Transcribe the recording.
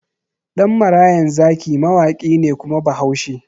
Ɗan marayan zaki mawaƙi ne kuma bahaushe